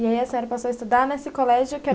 E aí a senhora passou a estudar nesse colégio que era